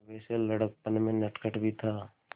वैसे लड़कपन में नटखट भी था